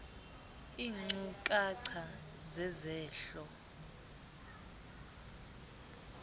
iinkcu kacha zezehlo